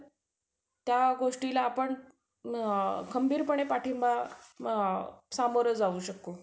त्या गोष्टीला आपण अ खंबीरपणे पाठींबा अ सामोरं जाऊ शकू.